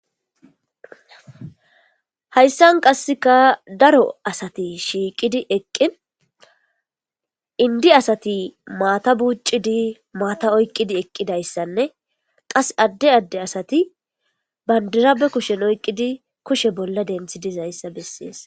Hayssan qasseka daro asati shiiqidi eqqi indi asati maata buuccidi maata oyqqidi eqqidayssanne qas adde adde asati bandirabe kushen oyqqidi kushe bolla denthi dizayssa bessees.